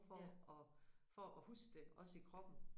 For at for at huske det også i kroppen